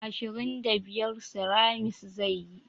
Ashirin da biyar ceramis zai yi